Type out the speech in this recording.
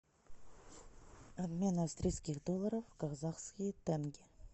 обмен австрийских долларов в казахские тенге